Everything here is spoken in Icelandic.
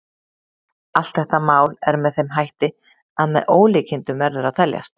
Allt þetta mál er með þeim hætti að með ólíkindum verður að teljast.